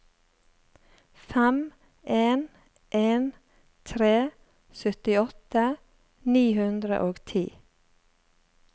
fem en en tre syttiåtte ni hundre og ti